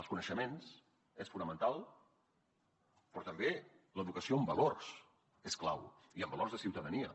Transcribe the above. els coneixements són fonamentals però també l’educació en valors és clau i en valors de ciutadania